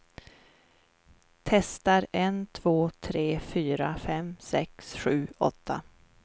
Testar en två tre fyra fem sex sju åtta.